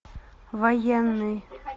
военный